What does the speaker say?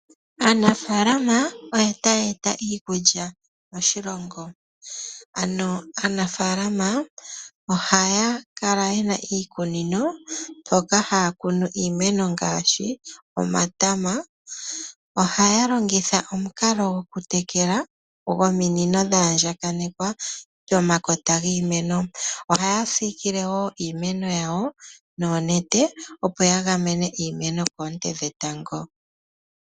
Aanafalama oyo ta yeeta iikulya moshilongo ndjoka hayizi miikunino moka haakunu iimeno ngaashi omatama. Ohaalongitha omikalo dhokutekula dhominino dhaandjakana pomakota giimeno. Ohaasikile woo iimeno noonete opo yaga mene iimeno koonte odhindji.